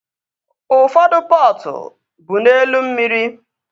Ụfọdụ pọtụ bụ n'elu mmiri